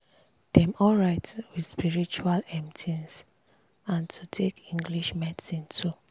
dem alright with spritual um things and to take english medicine too.